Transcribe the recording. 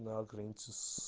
на границе с